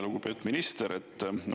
Lugupeetud minister!